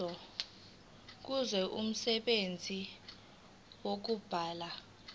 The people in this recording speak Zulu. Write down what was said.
kuzo umsebenzi wokubulala